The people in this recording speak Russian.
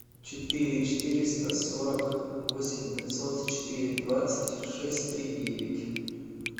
четыре четыреста сорок восемь пятьсот четыре двадцать шесть три девять